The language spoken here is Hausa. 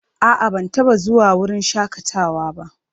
A'a, ban taɓa zuwa wurin shakatawa ba.